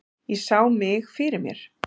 Ég sá mig fyrir mér.